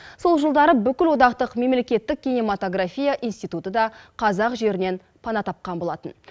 сол жылдары бүкілодақтық мемлекеттік кинематография институты да қазақ жерінен пана тапқан болатын